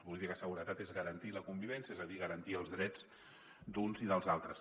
la política de seguretat és garantir la convivència és a dir garantir els drets d’uns i dels altres